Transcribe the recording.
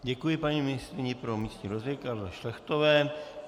Děkuji paní ministryni pro místní rozvoj Karle Šlechtové.